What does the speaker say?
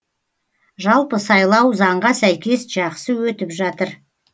жалпы сайлау заңға сәйкес жақсы өтіп жатыр